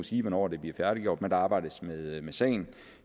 sige hvornår det bliver færdiggjort men der arbejdes med sagen